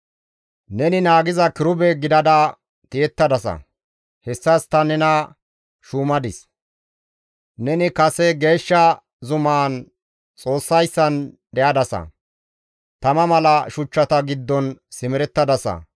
Neni naagiza kirube gidada tiyettadasa; hessas ta nena shuumadis; neni kase geeshsha zumaan Xoossayssan de7adasa; tama mala shuchchata giddon simerettadasa.